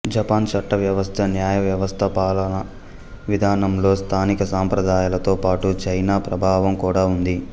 Japan చట్ట వ్యవస్థ న్యాయ వ్యవస్థ పాలవా విధానంలో స్థానిక సంప్రదాయాలతో పాటు చైనా ప్రభావం కూడా ఉంది